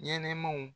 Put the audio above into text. Ɲɛnɛmaw